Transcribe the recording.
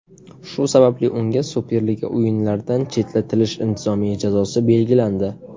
Shu sababli unga Superliga o‘yinlaridan chetlatilish intizomiy jazosi belgilandi.